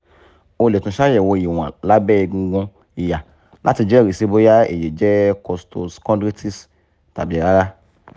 o le tun ṣayẹwo iwọn labẹ egungun iha lati jẹrisi boya eyi jẹ costo-chondritis tabi rara